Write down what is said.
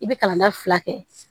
I bɛ kalan na fila kɛ